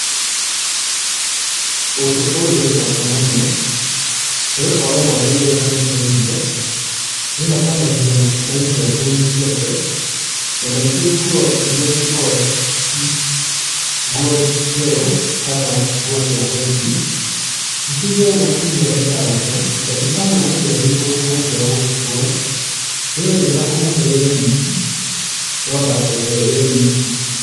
ũndũ wĩbata mũno nĩgũkorwo mwana rĩrĩa arehe irio nĩehakanagia mairio nguoinĩ na maingĩ nguo iria cikoragwo ci nguo njerũ kana nguo cia white